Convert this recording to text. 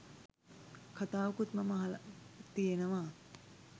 කතාවකුත් මම අහල තියෙනවා